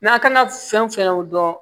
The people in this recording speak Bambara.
N'a kan ka fɛn o fɛn dɔn